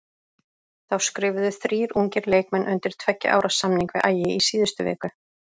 Þá skrifuðu þrír ungir leikmenn undir tveggja ára samning við Ægi í síðustu viku.